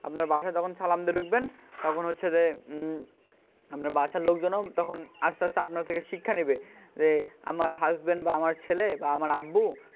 আপনার বাসায় যখন সালাম দিয়ে ঢুকবেন তখন হচ্ছে যে হম আপনার বাসার লোকজনও তখন আস্তে আস্তে আপনার থেকে শিক্ষা নেবে আমার husband বা আমার ছেলে বা আমার আব্বু,